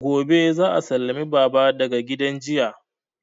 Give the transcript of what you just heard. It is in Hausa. Gobe za a sallame baba daga gidan jiya